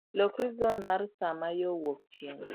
loki ir zon mar saa ma yo wuok chieng'